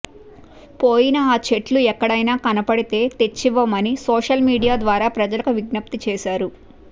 పోయిన ఆ చెట్లు ఎక్కడైనా కనపడితే తెచ్చివ్వమని సోషల్ మీడియా ద్వారా ప్రజలకు విజ్ఞప్తి చేశారు